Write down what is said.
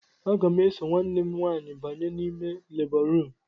Aga m eso nwanne m nwaanyị banye n'ime lebọ ruum.